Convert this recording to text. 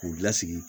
K'u lasigi